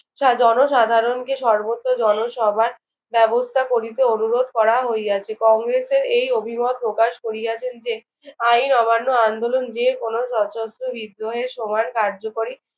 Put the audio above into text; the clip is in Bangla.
জনসাধারণকে সর্বত্র জনসভার ব্যবস্থা করিতে অনুরোধ করা হইয়াছে। কংগ্রেসের এই অভিমত প্রকাশ করিয়াছেন যে, আইন অমান্য আন্দোলন যেকোনো সশস্ত্র বিদ্রোহের সময় কার্যকরী